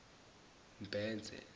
mbhense